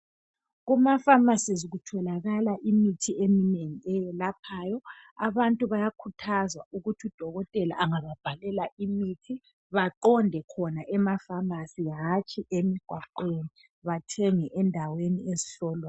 kuma phamarcies kutholakala imithi eminengi eyelaphayo abantu bayakhuthazwa ukuthi u dokotela angababhalela imithi baqonde khona ema phamarcy hatshi emigwaqweni bathenge endaweni ezihlolwayo